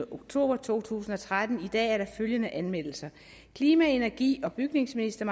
oktober to tusind og tretten i dag er der følgende anmeldelser klima energi og bygningsminister